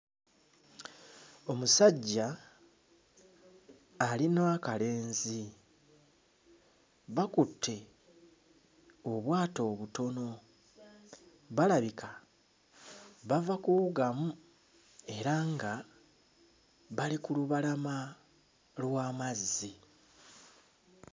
Omusajja ali n'akalenzi. Bakutte obwato obutono. Balabika bava kuwugamu era nga bali ku lubalama lw'amazzi.